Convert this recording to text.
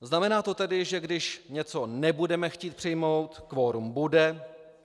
Znamená to tedy, že když něco nebudeme chtít přijmout, kvorum bude?